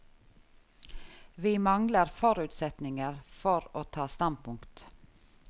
Vi mangler forutsetninger for å ta standpunkt.